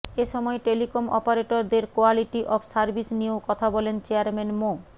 এ সময় টেলিকম অপারেটরদের quality of service নিয়েও কথা বলেন চেয়ারম্যান মো